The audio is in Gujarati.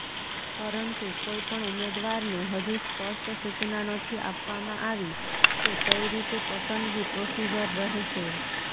પરંતુ કોઈપણ ઉમેદવારને હજુ સ્પષ્ટ સુચના નથી આપવામાં આવી કે કઈ રીતે પસંદગી પ્રોસિજર રહેશે